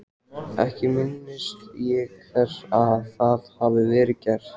Ekki minnist ég þess að það hafi verið gert.